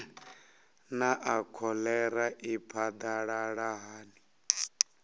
naa kholera i phadalala hani